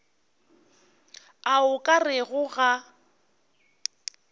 a o ka rego ga